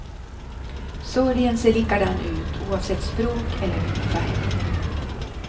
Sorgen ser likadan ut oavsett språk eller hudfärg.